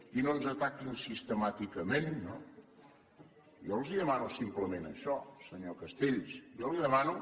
i no ens ataquin sistemàticament no jo els demano simplement això senyor castells jo li demano